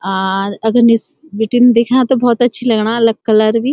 आर अगर निस बिटिन देख्यां त भौत अच्छी लगणा अलग कलर भी।